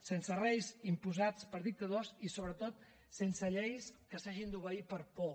sense reis imposats per dictadors i sobretot sense lleis que s’hagin d’obeir per por